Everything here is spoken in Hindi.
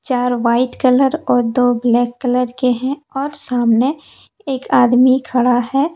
चार व्हाइट कलर और दो ब्लैक कलर के हैं और सामने एक आदमी खड़ा है।